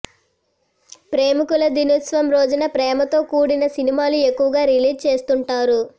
ప్రేమికుల దినోత్సవం రోజున ప్రేమతో కూడిన సినిమాలు ఎక్కువగా రిలీజ్ చేస్తుంటారు